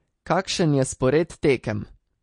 Kakšen je spored tekem?